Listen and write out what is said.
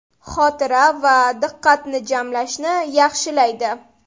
Xotira va diqqatni jamlashni yaxshilaydi.